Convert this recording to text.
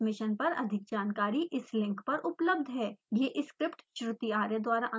इस mission पर अधिक जानकारी इस लिंक पर उपलब्ध है: